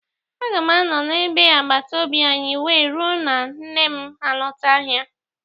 Aga m anọ na bé agbataobi anyị wee ruo na nne m alọta ahịa.